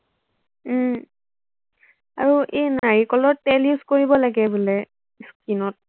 উম আৰু এই নাৰিকলৰ তেল use কৰিব লাগে বোলে skin ত